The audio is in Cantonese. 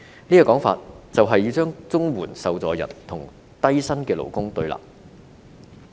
這種說法，便是要令綜援受助人與低薪勞工對立。